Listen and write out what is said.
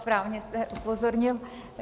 Správně jste upozornil.